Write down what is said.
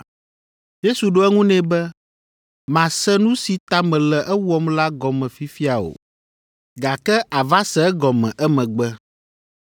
Yesu ɖo eŋu nɛ be, “Màse nu si ta mele ewɔm la gɔme fifia o, gake àva se egɔme emegbe.”